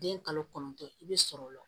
Den kalo kɔnɔntɔn i bɛ sɔrɔ o la